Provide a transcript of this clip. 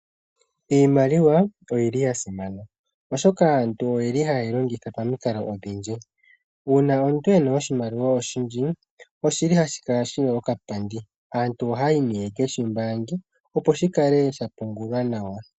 Iimaliwa oyi li yasimana , oshoka aantu oyeli hayeyi longitha pamikalo odhindji . Uuna omuntu ena oshimaliwa oshindji, oshili hashi kala shili shina okapandi. Aantu ohaya yi yekeshi mbaange opo shikale shapungulwa nawa.